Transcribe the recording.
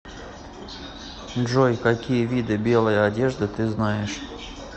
джой какие виды белые одежды ты знаешь